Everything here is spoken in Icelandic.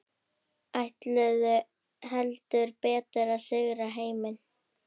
Ætluðu heldur betur að sigra heiminn.